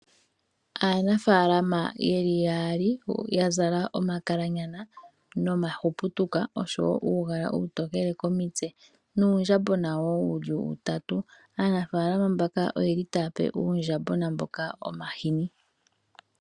Aanafaalama yeli yaali yazala omakalanyana nomahuputuka oshowo uugala uutokele komitse nuundjambona woo wuli utatu, aanafaalama mbaka oyeli taape uundjambona mboka omahini.